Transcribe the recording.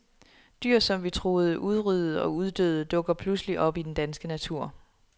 Dyr, som vi troede udryddet og uddøde, dukker pludselig op i den danske natur.